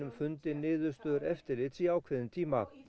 fundi niðurstöður eftirlits í ákveðinn tíma